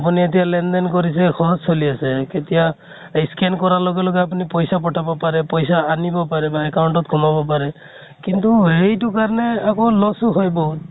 আপোনি এতিয়া লেন দেন কৰিছে phone চলি আছে । কেতিয়া এই scan কৰা লগে লগে আপোনি পইছা পথাব পাৰে, পইছা আনিব পাৰে বা account ত খোমাব পাৰে । সেইটো কাৰণে আকৌ loss ও হয় বহুত ।